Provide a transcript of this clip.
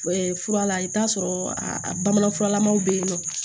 fura la i bɛ t'a sɔrɔ a bamananfuralamaw bɛ yen nɔ